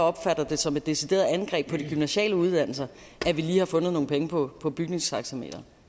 opfatter det som et decideret angreb på de gymnasiale uddannelser at vi har fundet nogle penge på på bygningstaxameteret